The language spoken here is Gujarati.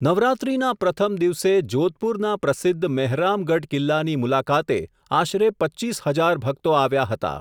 નવરાત્રિના પ્રથમ દિવસે, જોધપુરના પ્રસિદ્ધ મહેરામગઢ કિલ્લાની મુલાકાતે, આશરે પચ્ચીસ હજાર ભક્તો આવ્યા હતા.